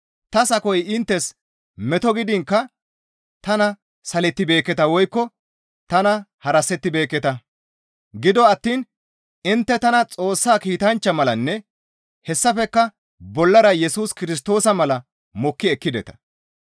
Ta sakoy inttes meto gidiinkka tana salettibeekketa woykko tana harasettibeekketa; gido attiin intte tana Xoossa kiitanchcha malanne hessafekka bollara Yesus Kirstoosa mala mokki ekkideta.